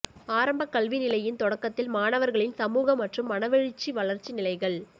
ஆரம்பக்கல்வி நிலையின் தொடக்கத்தில் மாணவர்களின் சமூக மற்றும் மனவெழுச்சி வளர்ச்சி நிலைகள்